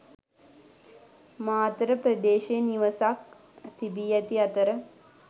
මාතර ප්‍රදේයේ නිවසක් තිබි ඇති අතර